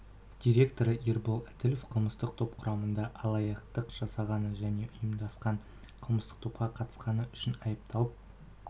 директоры ербол әділов қылмыстық топ құрамында алаяқтық жасағаны және ұйымдасқан қылмыстық топқа қатысқаны үшін айыпталып